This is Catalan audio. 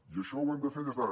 i això ho hem de fer des d’ara